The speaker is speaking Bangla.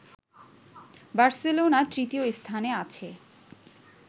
বার্সেলোনা তৃতীয় স্থানে আছে